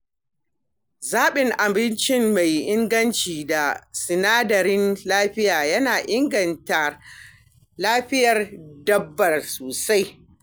Zaɓan abinci mai inganci da sinadaran lafiya yana inganta lafiyar dabba sosai.